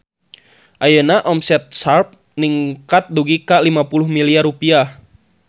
Ayeuna omset Sharp ningkat dugi ka 50 miliar rupiah